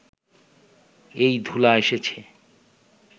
এই ধূলা এসেছে